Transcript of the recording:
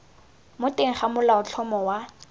mo teng ga molaotlhomo wa